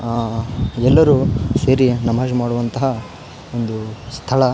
ಆ ಎಲ್ಲರು ಸೇರಿ ನಮಾಜ್ ಮಾಡುವಂತಹ ಒಂದು ಸ್ಥಳ .